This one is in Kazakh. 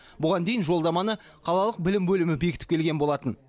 бұған дейін жолдаманы қалалық білім бөлімі бекітіп келген болатын